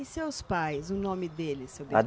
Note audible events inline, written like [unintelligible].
E seus pais, o nome deles, seu [unintelligible]